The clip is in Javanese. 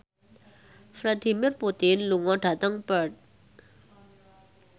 Vladimir Putin lunga dhateng Perth